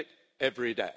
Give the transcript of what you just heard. Thank you,